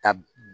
Ka